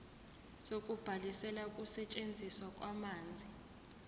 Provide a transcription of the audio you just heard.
sokubhalisela ukusetshenziswa kwamanzi